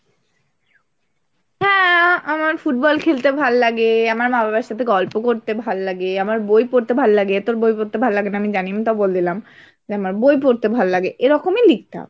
হ্যাঁ, আমার ফুটবল খেলতে ভাল্লাগে, আমার মা বাবার সাথে গল্প করতে ভাল্লাগে, আমার বই পড়তে ভাল্লাগে, তোর বই পড়তে ভাল্লাগে না আমি জানি আমি তাও বলে দিলাম, যে আমার বই পড়তে ভাল্লাগে, এরকমই লিখতে হবে।